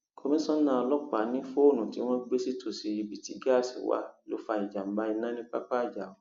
komisanna ọlọpàá ní fóònù tí wọn gbé sítòsí ibi tí gáàsì wà ló fa ìjàmbá iná ní pápá ajáò